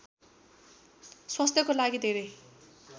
स्वास्थ्यको लागि धेरै